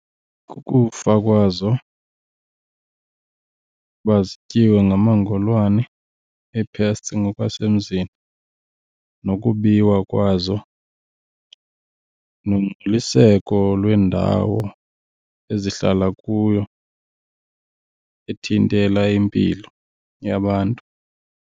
Kukufa kwazo uba zityiwe ngamangolwane, ii-pests ngokwasemzini, nokubiwa kwazo, nongcoliseko lwendawo ezihlala kuyo ethintela impilo yabantu.